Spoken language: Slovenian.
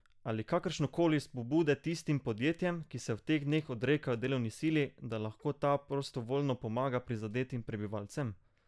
Ali kakršnekoli spodbude tistim podjetjem, ki se v teh dneh odrekajo delovni sili, da lahko ta prostovoljno pomaga prizadetim prebivalcem?